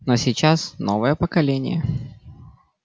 но сейчас новое поколение